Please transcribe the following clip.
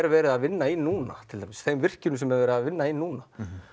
verið er að vinna í núna þeim virkjunum sem verið er að vinna í núna